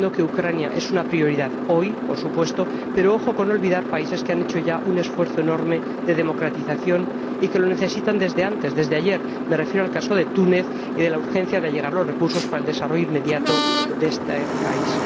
Entiendo que Ucrania es una prioridad hoy, por supuesto, pero ojo con olvidar países que han hecho ya un esfuerzo enorme de democratización y que lo necesitan desde antes, desde ayer —me refiero al caso de Túnez y a la urgencia de allegar los recursos para el desarrollo inmediato de este país—.